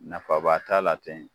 Nafa ba t'a la ten.